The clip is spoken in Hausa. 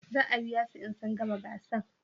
Za a biya su in sun gama gasan?